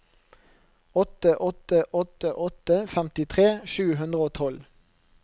åtte åtte åtte åtte femtitre sju hundre og tolv